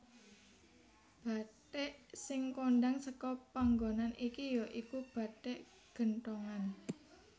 Bathik sing kondhang seka panggonan iki ya iku bathik genthongan